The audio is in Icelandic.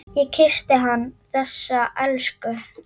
Ég kyssti hann, þessa elsku.